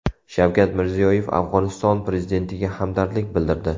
Shavkat Mirziyoyev Afg‘oniston Prezidentiga hamdardlik bildirdi.